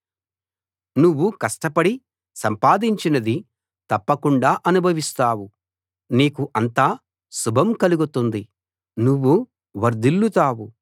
నువ్వు కష్టపడి సంపాదించినది తప్పకుండా అనుభవిస్తావు నీకు అంతా శుభం కలుగుతుంది నువ్వు వర్ధిల్లుతావు